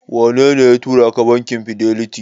Wanene ya turaka bankin Fidelity?